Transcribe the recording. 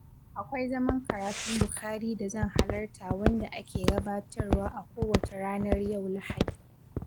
Akwai zaman karatun Bukhari da zan halarta wanda ake gabatarwa a kowace ranar yau Lahadi.